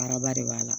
Araba de b'a la